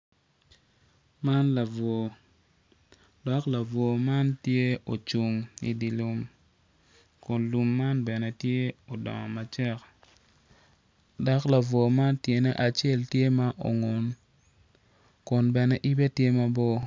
Lutini dok lutini man gitye ka ngwec kun gitye madwong adada kun gin weng gitye ma oruko bongo mapafipadi dok kalane tye patpat kungin tye ka ngwec i yo gudo ma otal adada.